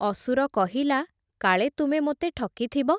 ଅସୁର କହିଲା, କାଳେ ତୁମେ ମୋତେ ଠକିଥିବ ।